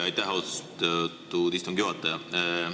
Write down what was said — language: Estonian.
Aitäh, austatud istungi juhataja!